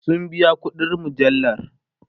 sun biya ƙuɗin mujallar